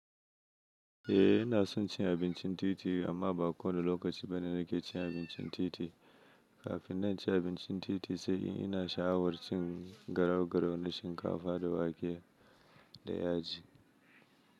Eh ina son cin abincin titi amma ba kowane lokaci bane nake cin abincin titi. Kafin na ci abincin titi sai ina sha'awar cin garau-garau na shinkafa da wake da yaji.